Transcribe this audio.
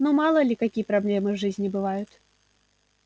ну мало ли какие проблемы в жизни бывают